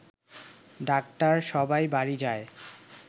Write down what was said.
doctor সবাই বাড়ি যায়